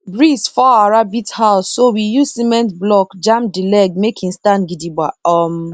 breeze fall our rabbit house so we use cement block jam the leg make e stand gidigba um